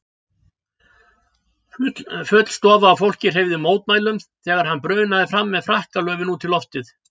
Full stofa af fólki hreyfði mótmælum þegar hann brunaði fram með frakkalöfin út í loftið.